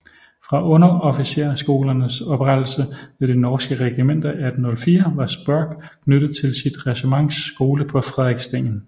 Fra underofficersskolernes oprettelse ved de norske regimenter 1804 var Spørck knyttet til sit regiments skole på Frederikssten